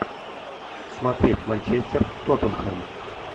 смотреть манчестер тоттенхэм